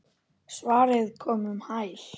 Svarið kom um hæl.